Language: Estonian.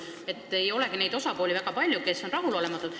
Eriti ei olegi neid, kes on rahulolematud.